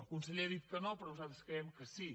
el conseller ha dit que no però nosaltres creiem que sí